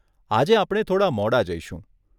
આજે આપણે થોડાં મોડાં જઈશું.